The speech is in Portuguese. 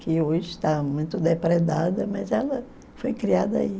que hoje está muito depredada, mas ela foi criada aí.